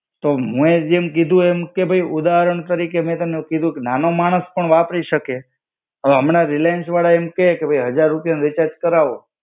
તો હું એ જેમ કીધું એમ કે ભઈ ઉદાહરણ તરીકે મેં તને કીધું કે નાનો માણસ પણ વાપરી શકે. હમણાં રિલાયન્સ વાળા એમ કહે કે ભઈ હજાર રૂપિયા નું રીચાર્જ કરાવો